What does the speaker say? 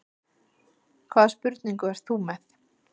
Hvaða spurningu ert þú með?